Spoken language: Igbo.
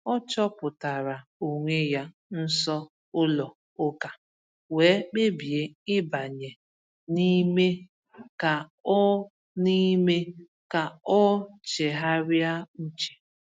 O chọpụtara onwe ya nso ụlọ ụka wee kpebie ịbanye n’ime ka o n’ime ka o chegharịa uche.